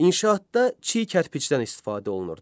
İnşaatda çiy kərpicdən istifadə olunurdu.